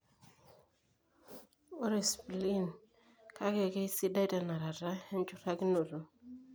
Ore spleen, kake, keisidai tenarata enchurtakinoto.